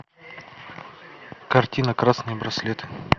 картина красный браслет